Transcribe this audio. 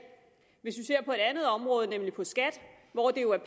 hvis vi ser på et andet område nemlig på skat hvor det jo er